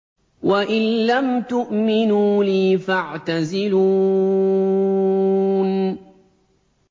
وَإِن لَّمْ تُؤْمِنُوا لِي فَاعْتَزِلُونِ